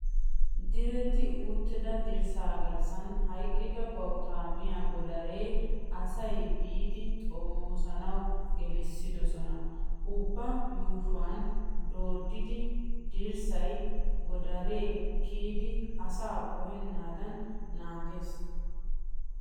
Diretti utidda dirssa garssan hayqqida bawutta miya godare asay biidi xommosanawu gelissidosona. Ubba yuushuwan dooddida dirssay godare kiyid asaa qohenadan naagiyaaga.